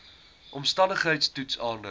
omstandigheids toets aandui